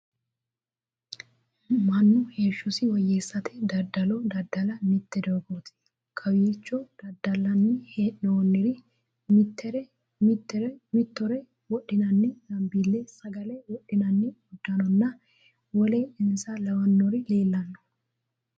Manu heeshosi woyeesate dadalo dada'la mite doogooti. Kowicho dadalanni hee'noonniri mitire wodhinnanni zambiile, sagale wodhinnanni uduunninna wole insa lawanori leelano.